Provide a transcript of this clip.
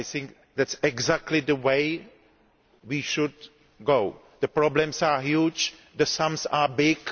I think that is exactly the way we should go. The problems are huge, the sums are big.